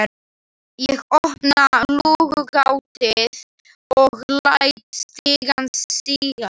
Ég opna lúgugatið og læt stigann síga.